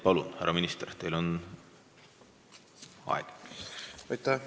Palun, härra minister, teil on võimalus!